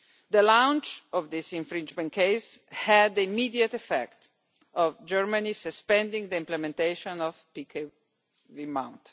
The launch of this infringement case had the immediate effect of Germany suspending implementation of the PkW Maut.